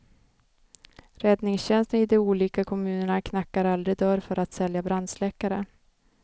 Räddningstjänsten i de olika kommunerna knackar aldrig dörr för att sälja brandsläckare.